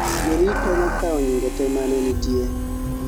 jorit o nokao nyinge te mane nitie